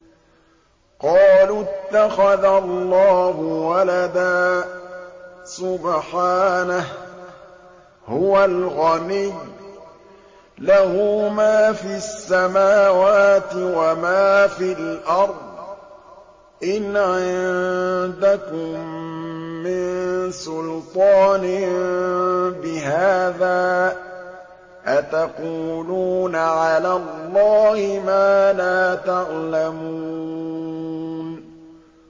قَالُوا اتَّخَذَ اللَّهُ وَلَدًا ۗ سُبْحَانَهُ ۖ هُوَ الْغَنِيُّ ۖ لَهُ مَا فِي السَّمَاوَاتِ وَمَا فِي الْأَرْضِ ۚ إِنْ عِندَكُم مِّن سُلْطَانٍ بِهَٰذَا ۚ أَتَقُولُونَ عَلَى اللَّهِ مَا لَا تَعْلَمُونَ